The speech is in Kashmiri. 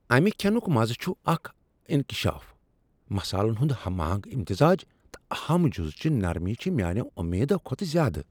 امہ کھینُک مزٕ چُھ اکھ انکشاف۔ مصالن ہنٛد ہم آہنگ امتزاج تہٕ اہم جُزٕچہِ نرمی چھ میانیو امیدو كھوتہٕ زیادٕ ۔